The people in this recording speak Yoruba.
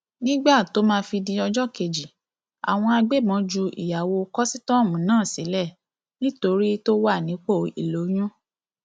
nígbà tó máa fi di ọjọ kejì àwọn agbébọn ju ìyàwó kọsítọọmù náà sílẹ nítorí tó wà nípò ìlóyún